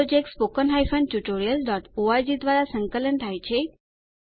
આ project httpspoken tutorialorg દ્વારા સંકલન થાય છે